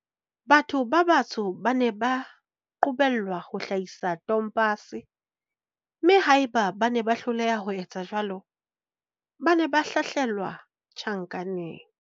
Batho ba batsho ba ne ba qobellwa ho hlahisa tompase, mme haeba bane ba hloleha ho etsa jwalo, ba ne ba hlahlelwa tjhankaneng.